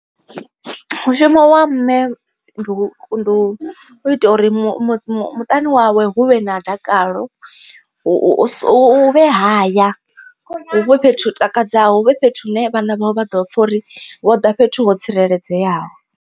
Mushumo wa mme ndi u ita uri mu mu muṱani wawe hu vhe na dakalo, u u hu vhe haya huvhe fhethu takadzaho huvhe fhethu hu ne vhana vha ḓo pfha uri vho ḓa fhethu ho tsireledzeaho.